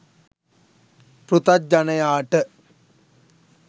පෘථග්ජනයාට